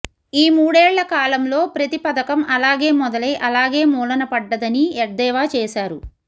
ఈ మూడేళ్ల కాలంలో ప్రతి పథకం అలాగే మొదలై అలాగే మూలన పడ్డదని ఎద్దేవా చేశారు